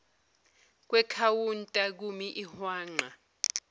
kwekhawunta kumi ihwanqa